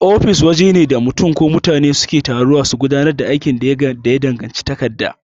Ofis wajene da mutun ko mutane suke taruwa su gudanar da aikin da ya danganci takarda.